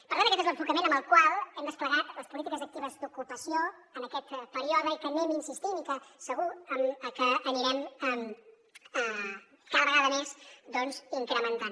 per tant aquest és l’enfocament amb el qual hem desplegat les polítiques actives d’ocupació en aquest període i que hi anem insistint i que segur que anirem cada vegada més doncs incrementant